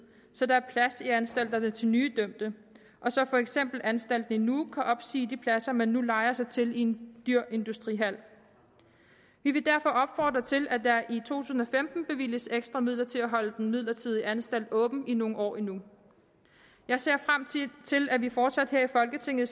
så der var plads i anstalterne til nye dømte og så for eksempel anstalten i nuuk kunne opsige de pladser man nu lejer sig til i en dyr industrihal vi vil derfor opfordre til at der i tusind og femten bevilges ekstra midler til at holde den midlertidige anstalt åben i nogle år endnu jeg ser frem til at vi fortsat her i folketinget